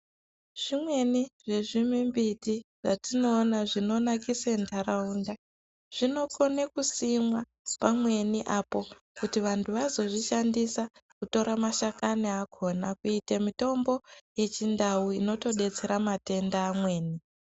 Zvimweni zvezvimimbiti zvatinoona zvinonakise ndaraunda, zvinokona kusimwa pamweni apo kuti vantu vazozvishandisa kutora mashakani akona kuite mitombo yechiNdau inotodetsera matenda amweni.